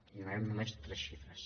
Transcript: i donarem només tres xifres